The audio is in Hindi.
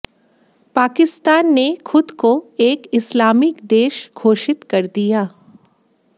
पाकिस्तान ने खुद को एक इस्लामिक देश घोषित कर दिया